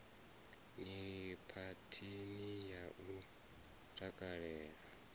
ni phathini ya u takalela